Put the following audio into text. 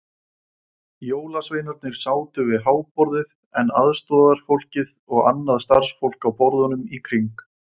Jólasveinarnir sátu við háborðið en aðstorðafólkið og annað starfsfólk á borðunum í kring.